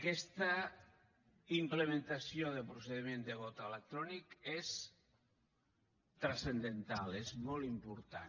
aquesta implementació de procediment de vot electrònic és transcendental és molt important